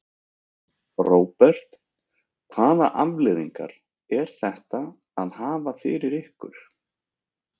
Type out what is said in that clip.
Róbert: Hvaða afleiðingar er þetta að hafa fyrir ykkur?